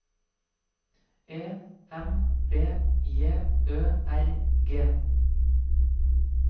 E M B J Ø R G